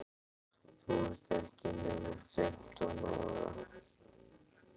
Þú ert ekki nema fimmtán ára.